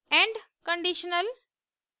end conditional